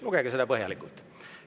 Lugege seda põhjalikult.